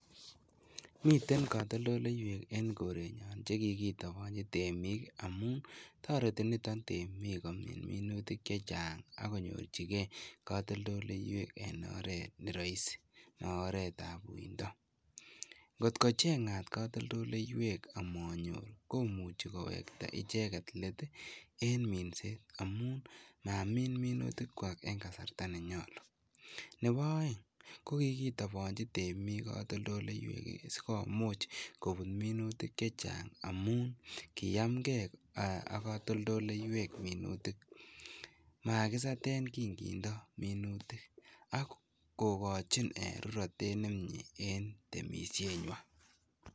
Miten kotoldoleiwek en korenyon chekikitobonchi biik amun toreti niton temiik komin minutik chechang akonyorchike katoldoleiwek en oreet neroisi en oranitok, kotkocheng'at katoldoleiwek amanyor komuche kowekta icheket leet en minset amun inamin minutikwak en kasarta nenyolu, nebo oeng ko kikitobonchi temiik katoldoleiwek sikomuch kobut minutik chechang amun kiyamkee ak katoldoleiwek minutik, makisaten kingemindo minutik ak kokochin rurotet nemie en temishenywan.